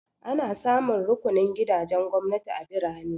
Ana samun rukunin gidajen gwamnati a birane.